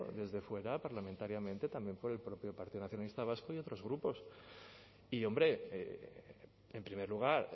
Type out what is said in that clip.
desde fuera parlamentariamente también por el propio partido nacionalista vasco y otros grupos y hombre en primer lugar